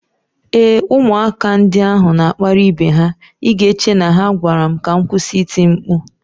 Ee, ụmụaka ndị ahụ na-akparị ibe ha, ị ga-eche na ha gwara m ka m kwụsị iti mkpu.